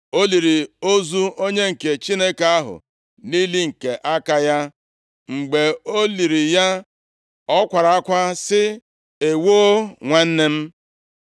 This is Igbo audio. O liri ozu onye nke Chineke ahụ nʼili nke aka ya. Mgbe o liri ya, ọ kwara akwa sị, “Ewoo nwanna m!”